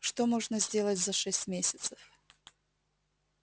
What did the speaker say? что можно сделать за шесть месяцев